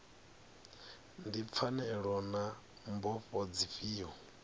ndi pfanelo na mbofho dzifhio